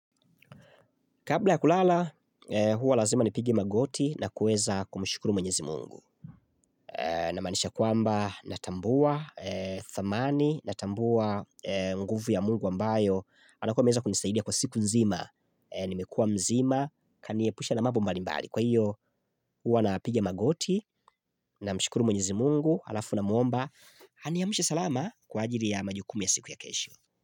Kabla ya kulala, huwa lazima nipige magoti na kueza kumushukuru mwenyezi mungu. Na manisha kwamba natambua thamani, natambua nguvu ya mungu ambayo, anakuwa meza kunisaidia kwa siku nzima, nimekua mzima, kanie pusha na mambo mbalimbali. Kwa hiyo, huwa napigia magoti na mshukuru mwenyezi mungu, alafu na muomba, aniamshe salama kwa ajiri ya majukumia siku ya kesho.